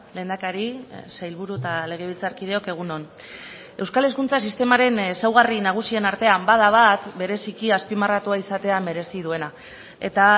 lehendakari sailburu eta legebiltzarkideok egun on euskal hezkuntza sistemaren ezaugarri nagusien artean bada bat bereziki azpimarratua izatea merezi duena eta